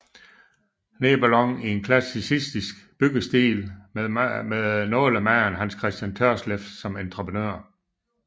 Nebelong i en klassicistisk byggestil med nålemager Hans Christian Tørsleff som entreprenør